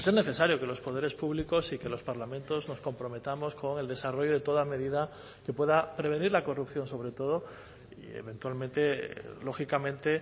necesario que los poderes públicos y que los parlamentos nos comprometamos con el desarrollo de toda medida que pueda prevenir la corrupción sobre todo eventualmente lógicamente